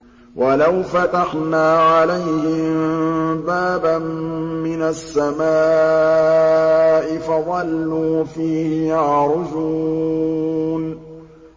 وَلَوْ فَتَحْنَا عَلَيْهِم بَابًا مِّنَ السَّمَاءِ فَظَلُّوا فِيهِ يَعْرُجُونَ